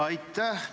Aitäh!